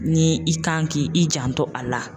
Ni i kan k'i i janto a la.